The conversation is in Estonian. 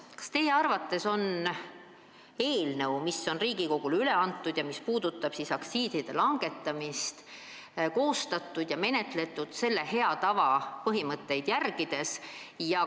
Kas teie arvates on Riigikogule üle antud eelnõu, mis puudutab aktsiiside langetamist, koostatud ja menetletud hea tava põhimõtteid järgides?